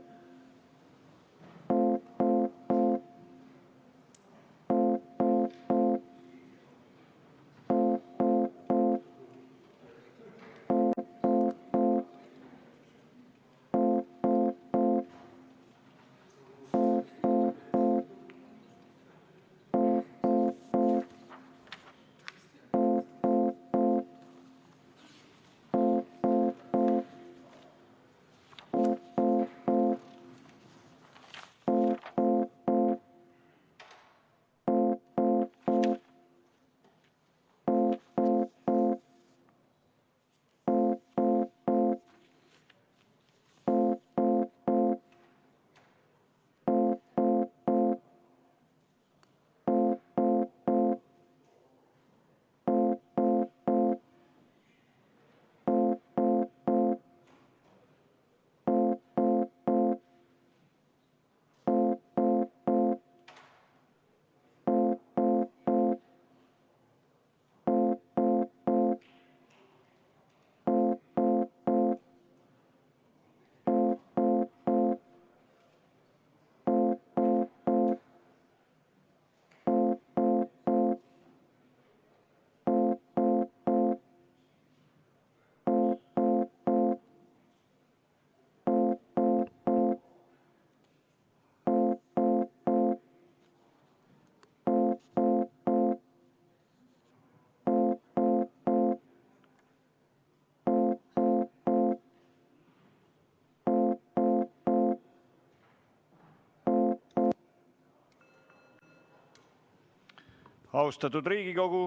Austatud Riigikogu!